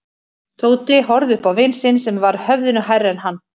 Tóti horfði upp á vin sinn sem var höfðinu hærri en hann.